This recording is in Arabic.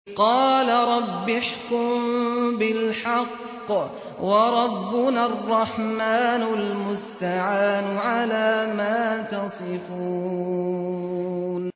قَالَ رَبِّ احْكُم بِالْحَقِّ ۗ وَرَبُّنَا الرَّحْمَٰنُ الْمُسْتَعَانُ عَلَىٰ مَا تَصِفُونَ